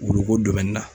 Worokomɛni na